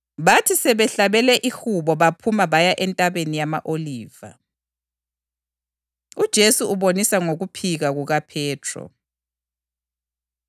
Ngiyalitshela, angisayikuphinda nginathe okwesithelo sevini, kusukela manje kuze kube yilolosuku lapho engizakunatha khona kabutsha lani embusweni kaBaba.”